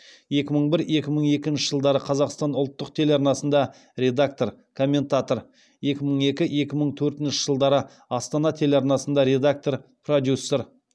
екі мың бір екі мың екінші жылдары қазақстан ұлттық телеарнасында редактор комментатор екі мың екі екі мың төртінші жылдары астана телеарнасында редактор продюсер